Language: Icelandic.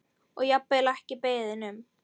Og jafnvel ekki beðinn um.